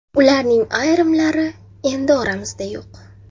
Ularning ayrimlari endi oramizda yo‘q.